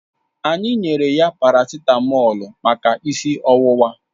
Anyị nyere ya paracitamọ̀lu maka isi ọwụwa